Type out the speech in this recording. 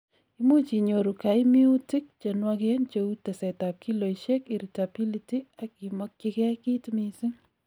imuch inyoru kaimiutik chenwogen cheu tesetab kiloisiek, irritability ak imokyigei kiit missing